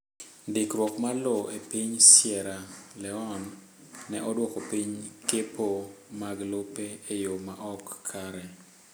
Ndikruok mar lowo e piny Sierra Leone ne oduoko piny kepo mag lope e yo ma ok kare